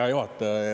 Hea juhataja!